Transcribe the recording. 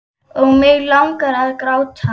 Og mig langar að gráta.